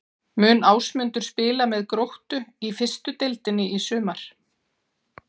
Mun Ásmundur spila með Gróttu í fyrstu deildinni í sumar?